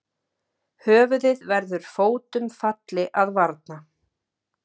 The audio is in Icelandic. Höfuðið verður fótum falli að varna.